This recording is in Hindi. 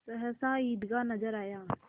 सहसा ईदगाह नजर आया